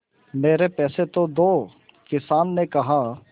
मेरे पैसे तो दो किसान ने कहा